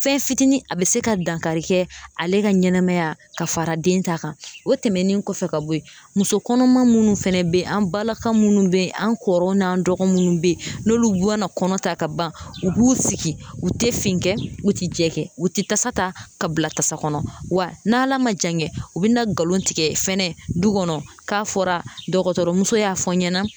Fɛn fitinin a bɛ se ka dankari kɛ ale ka ɲɛnɛmaya ka fara den ta kan o tɛmɛnen kɔfɛ ka bɔ ye muso kɔnɔma minnu fɛnɛ bɛ ye an balaka minnu bɛ yen an kɔrɔw n'an dɔgɔ minnu bɛ yen n'olu mana kɔnɔ ta ka ban u b'u sigi u tɛ fin u tɛ jɛ kɛ u tɛ tasa ta ka bila tasa kɔnɔ wa n'Ala ma jan kɛ u bɛ na nkalon tigɛ fɛnɛ du kɔnɔ k'a fɔra dɔgɔtɔrɔmuso y'a fɔ n ɲɛna